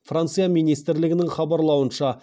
франция министрлігінің хабарлауынша